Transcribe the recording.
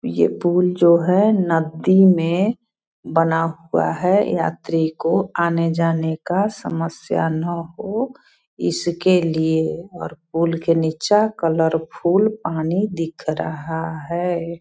ये पुल जो है नदी में बना हुआ है यात्री को आने-जाने का समस्या ना हो इसके लिए और पुल के नीचा कलरफुल पानी दिख रहा है।